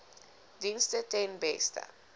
dienste ten beste